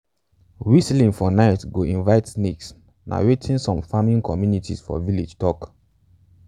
whistling for night go invite snakes na wetin many farming communities for village tok.